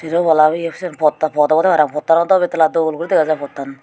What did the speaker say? yen walhabeye siyen phota phot obwdey parapang phottan dw bettala dol guri degajai phottan.